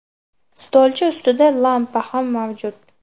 Stolcha ustida lampa ham mavjud.